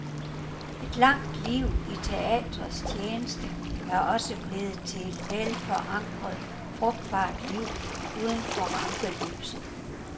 Et langt liv i teatrets tjeneste er også blevet til et velforankret, frugtbart liv uden for rampelyset.